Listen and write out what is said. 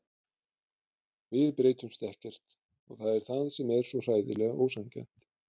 Við breytumst ekkert og það er það sem er svo hræðilega ósanngjarnt.